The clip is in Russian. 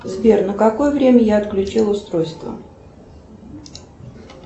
сбер на какое время я отключила устройство